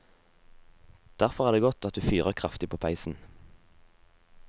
Derfor er det godt at du fyrer kraftig på peisen.